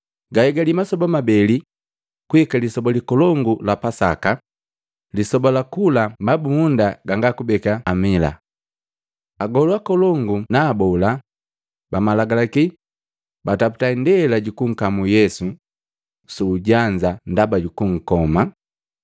Gahigali masoba mabeli kuhika Lisoba likolongu la Pasaka ni lisoba la kula mabumunda ganga kubeka Lisali. Agolu akolongu na abola bamalagalaki bataputa indela jukunkamu Yesu suujanza ndaba kunkoma.